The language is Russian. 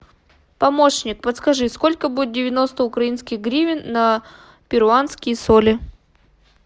помощник подскажи сколько будет девяносто украинских гривен на перуанские соли